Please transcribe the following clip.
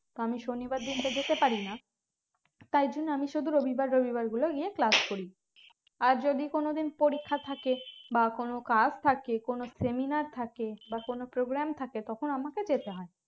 আমি শনিবার দিন তো যেতে পারিনা তাই জন্য আমি শুধু রবিবার রবিবার গুলো গিয়ে class করি আর যদি কোন দিন পরীক্ষা থাকে বা কোন কাজ থাকলে কোন seminar থাকে বা কোন programme থাকে তখন আমাকে যেতে হয়